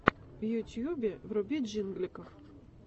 в ютубе вруби джингликов